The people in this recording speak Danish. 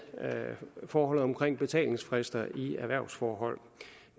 forholdet om betalingsfrister i erhvervsforhold